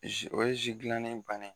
ye gilannen bannen ye.